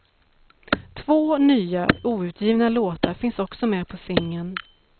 Två nya, outgivna låtar finns också med på singeln.